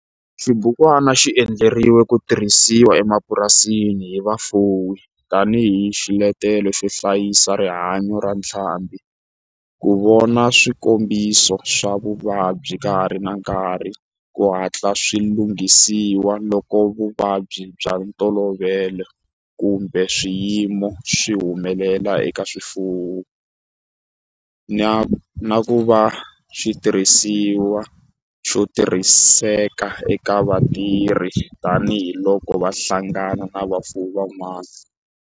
Xibukwana xi endliwe ku tirhisiwa emapurasini hi vafuwi tani hi xiletelo xo hlayisa rihanyo ra ntlhambhi, ku vona swikombiso swa vuvabyi ka ha ri na nkarhi ku hatla swi langutisiwa loko vuvabyi bya ntolovelo kumbe swiyimo swi humelela eka swifuwo, na ku va xitirhisiwa xo tirhiseka eka vatirhi tani hi loko va hlangana na vafuwi van'wana.